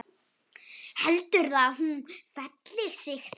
Heldurðu að hún feli sig þar?